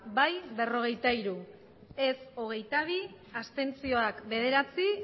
bai berrogeita hiru ez hogeita bi abstentzioak bederatzi